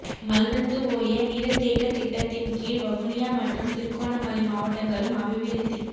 மல்வத்துஓய நீரத்தேக்க திட்டத்தின் கீழ் வவுனியா மற்றும் திருகோணமலை மாவட்டங்களும் அபிவிருத்தி